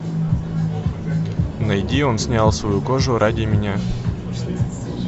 найди он снял свою кожу ради меня